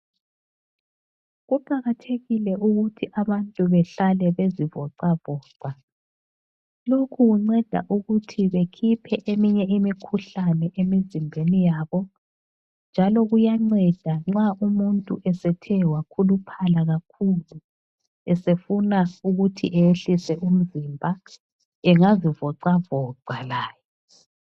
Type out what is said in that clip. Kuqakathekile ukuthi abantu behlale bezivocavoca. Lokhu kunceda ukuthi bekhiphe eminye imikhuhlane emizimbeni yabo njalo kuyanceda nxa umuntu esethe wakhuluphala kakhulu esefuna ukuthi ayehlise umzimba engazivocavoca laye.